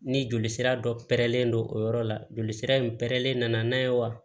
Ni joli sira dɔ pɛrɛnlen do o yɔrɔ la jolisira in pɛrɛn-len nana n'a ye wa